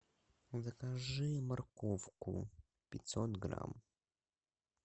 закажи морковку пятьсот грамм